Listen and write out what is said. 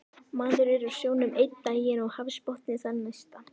Maður er á sjónum einn daginn og hafsbotni þann næsta